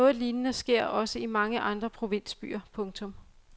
Noget lignende sker også i mange andre provinsbyer. punktum